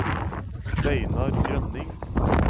Steinar Grønning